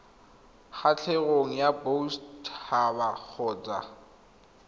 kgatlhegong ya boset haba kgotsa